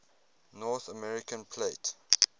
north american plate